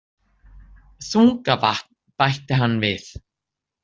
Þungavatn, bætti hann við.